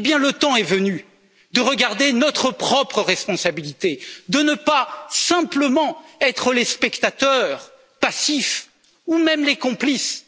Le temps est venu de regarder notre propre responsabilité, de ne pas simplement être les spectateurs passifs ou même les complices,